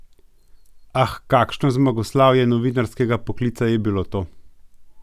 Ah, kakšno zmagoslavje novinarskega poklica je bilo to!